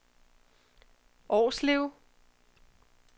Årslev